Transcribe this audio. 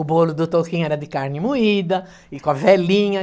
O bolo do Toquinho era de carne moída e com a velhinha.